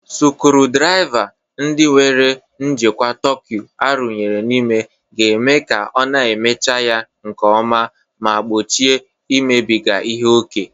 sucurudriva ndi nwere njikwa torque arụnyere n'ime ga-eme ka a na-emechi ya nke ọma ma gbochie imebiga ihe ókè